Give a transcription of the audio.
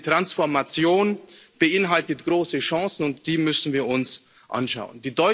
Ich denke, die Transformation beinhaltet große Chancen, und die müssen wir uns anschauen.